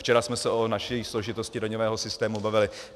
Včera jsme se o naší složitosti daňového systému bavili.